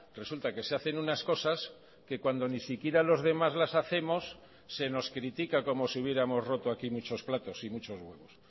resulta que se hacen unas cosas que cuando ni siquiera los demás las hacemos se nos critica como si hubiéramos roto aquí muchos platos y muchos huevos